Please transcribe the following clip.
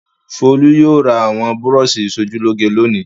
Folú yóò ra àwọn búrọ́ṣì ìṣojúlóge lónìí.